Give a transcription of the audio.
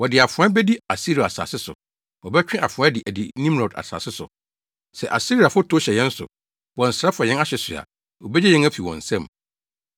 Wɔde afoa bedi Asiria asase so, wɔbɛtwe afoa de adi Nimrod asase so. Sɛ Asiriafo tow hyɛ yɛn so, bɔ nsra fa yɛn ahye so a, obegye yɛn afi wɔn nsam.